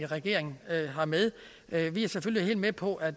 regeringen har med vi er selvfølgelig helt med på at